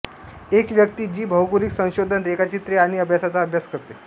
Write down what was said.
एक व्यक्ती जी भौगोलिक संशोधन रेखाचित्रे आणि अभ्यासाचा अभ्यास करते